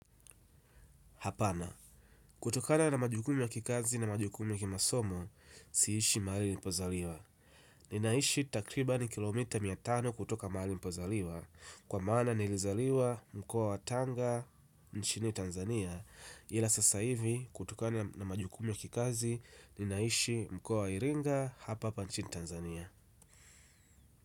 Hapana, kutokana na majukumu ya kikazi na majukumu ya kimasomo, siishi mahali nilipozaliwa ninaishi takriban kilomita mia tano kutoka mahali nilipozaliwa kwa maana nilizaliwa mkoa wa Tanga, nchini Tanzania. Ila sasa hivi, kutokana na majukumu ya kikazi, ninaishi mkoa wa Iringa, hapa hapa nchini Tanzania.